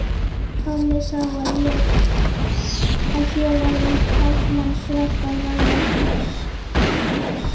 Tommi sá að hér var um karlmannsverk að ræða.